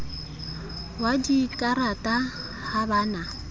wa dikarata ha ba na